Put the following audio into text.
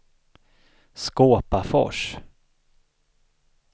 Skåpafors